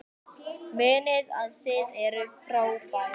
Munið að þið eruð frábær!